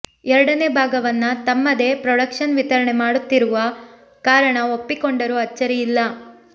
ಎರಡನೇ ಭಾಗವನ್ನ ತಮ್ಮದೇ ಪ್ರೊಡಕ್ಷನ್ ವಿತರಣೆ ಮಾಡ್ತಿರುವ ಕಾರಣ ಒಪ್ಪಿಕೊಂಡರು ಅಚ್ಚರಿ ಇಲ್ಲ